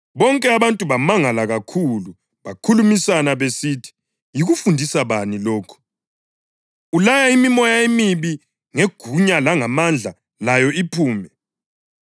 Bonke abantu bamangala kakhulu bakhulumisana besithi, “Yikufundisa bani lokhu? Ulaya imimoya emibi ngegunya langamandla layo iphume!”